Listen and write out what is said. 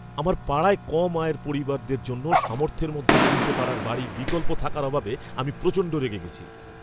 আমার পাড়ায় কম আয়ের পরিবারদের জন্য সামর্থ্যের মধ্যে কিনতে পারার বাড়ির বিকল্প থাকার অভাবে আমি প্রচণ্ড রেগে গেছি।